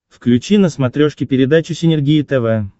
включи на смотрешке передачу синергия тв